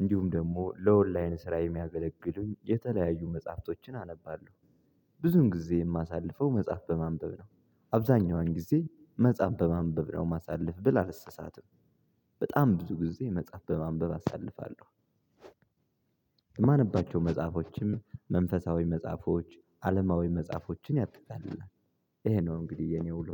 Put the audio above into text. እንዲሁም ደግሞ ለኦንላይን ስራ የሚያገለግሉኝ የተለያዩ መጽሐፍቶችን አነባለሁ። ብዙን ጊዜ የማሳልፈው መጽሐፍ በማንበብ ነው አብዛኛውን ጊዜ መጽሐፍ በማንበብ ነው ማሳልፍ ብል አልሳሳትም። በጣም ብዙ ጊዜ መጽሐፍ በማንበብ አሳልፋለሁ። የማነባቸው መጽሐፎችም መንፈሳዊ መጽሐፎች አለማዊ መጽሐፎችን ያጠቃልላል። ይሄ ነው እንግዲህ የኔ ውሎ።